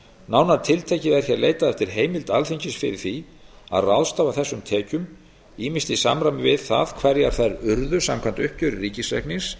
nánar tiltekið er hér leitað eftir heimild alþingis fyrir því að ráðstafa þessum tekjum ýmist í samræmi við það hverjar þær urðu samkvæmt uppgjöri ríkisreiknings